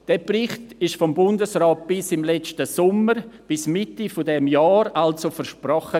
Dieser Bericht wurde vom Bundesrat bis letzten Sommer, bis Mitte dieses Jahres also, versprochen.